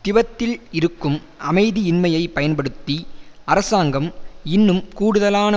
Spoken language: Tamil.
திபெத்தில் இருக்கும் அமைதியின்மையை பயன்படுத்தி அரசாங்கம் இன்னும் கூடுதலான